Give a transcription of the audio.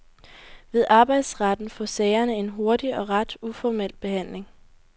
Ved arbejdsretten får sagerne en hurtig og ret uformel behandling.